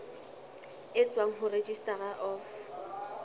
e tswang ho registrar of